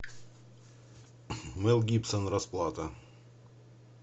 мэл гибсон расплата